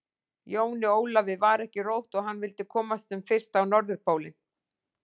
Jóni Ólafi var ekki rótt og hann vildi komast sem fyrst á Norðurpólinn.